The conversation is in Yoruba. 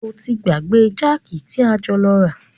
O ti gbàgbé jákì tí a jọ lọ rà.